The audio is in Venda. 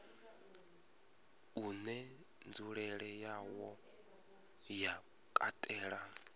une nzulele yawo ya katela